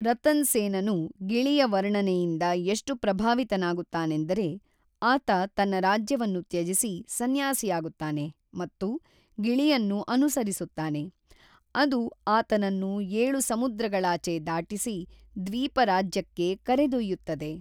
ರತನ್ ಸೇನನು ಗಿಳಿಯ ವರ್ಣನೆಯಿಂದ ಎಷ್ಟು ಪ್ರಭಾವಿತನಾಗುತ್ತಾನೆಂದರೆ ಆತ ತನ್ನ ರಾಜ್ಯವನ್ನು ತ್ಯಜಿಸಿ ಸನ್ಯಾಸಿಯಾಗುತ್ತಾನೆ ಮತ್ತು ಗಿಳಿಯನ್ನು ಅನುಸರಿಸುತ್ತಾನೆ, ಅದು ಆತನನ್ನು ಏಳು ಸಮುದ್ರಗಳಾಚೆ ದಾಟಿಸಿ ದ್ವೀಪ ರಾಜ್ಯಕ್ಕೆ ಕರೆದೊಯ್ಯುತ್ತದೆ.